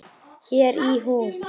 Sáum hann út um glugga.